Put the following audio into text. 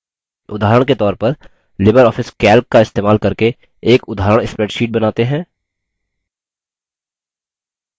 उदाहरण के तौर पर libreoffice calc का इस्तेमाल करके एक उदाहरण spreadsheet बनाते हैं